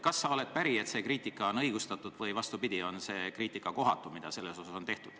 Kas sa oled päri, et see kriitika on õigustatud, või vastupidi, on see kriitika kohatu?